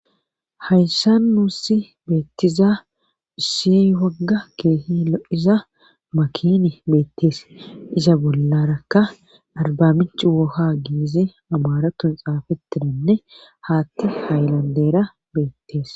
Hayssa nuussi beettiza ussi wagga keehi lo'iza makini beettees iza bollarakka arbaminchi woha giizi amaratun xaafetinanne haatti haylandera beettees.